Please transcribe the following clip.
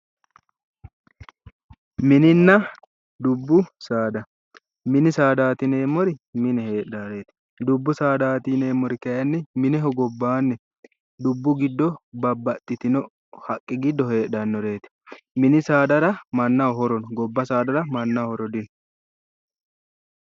Mininna dubbu saada. Mininna dubbu saada yuneemmori mine heedhaareeti. Dubbu saada yineemmori kayinni mineho gobbaanni dubbu giddo babbaxxitino haqqete giddo heedhannoreeti mini saadara mannaho horo no dubbu saadara mannaho horo dino.